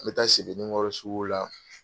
An bɛ taa Sebenikɔrɔ sugu la.